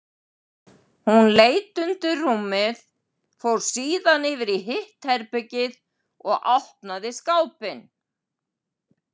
Hún leit undir rúmið, fór síðan yfir í hitt herbergið og opnaði skápinn.